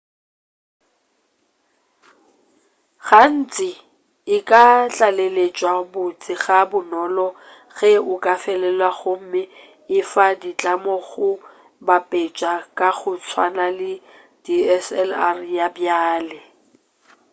gantši e ka tlaleletšwa botse ga bonolo ge o ka felelwa gomme e fa ditlamo go bapetša ka go tswana le dslr ya bjale